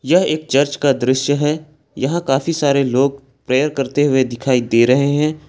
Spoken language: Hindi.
यह एक चर्च का दृश्य है यहां काफी सारे लोग प्रेयर करते हुए दिखाई दे रहे हैं।